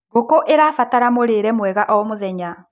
ngũkũ irabatara mũrĩre mwega o mũthenya